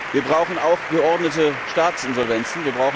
Wir brauchen auch geordnete Staatsinsolvenzen.